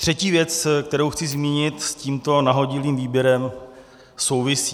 Třetí věc, kterou chci zmínit, s tímto nahodilým výběrem souvisí.